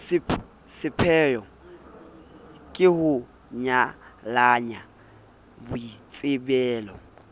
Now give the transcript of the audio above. sepheyo ke ho nyalanya boitsebelo